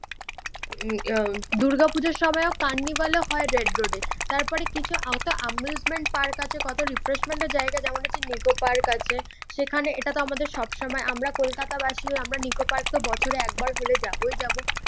উম আহ দূর্গা পুজোর সময়ও কার্নিভ্যাল ও হয় রেড রোডে। তারপরে কিছু এম্বুসেমেন্ট পার্ক আছে কত রিফ্রেশমেন্টের জায়গা যেমন হচ্ছে নিকো পার্ক আছে। সেখানে এটাতো আমাদের সবসময় আমরা কলকাতা বাসি হয়ে আমরা নিকো পার্ক তো বছরে একবার হলেই যাবোই যাবো